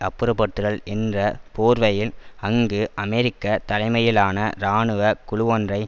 அப்புறப்படுத்துதல் என்ற போர்வையில் அங்கு அமெரிக்க தலைமையிலான இராணுவ குழுவொன்றை